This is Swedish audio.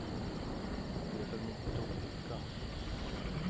Det är mycket olika.